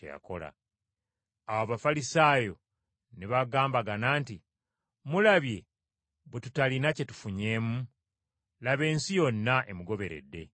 Awo Abafalisaayo ne bagambagana nti: “Mulabye bwe tutalina kye tufunyeemu! Laba ensi yonna emugoberedde.”